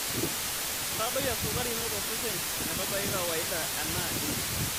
Ntadoi esukari ino tosesen metabaiki kawaida anaa endim.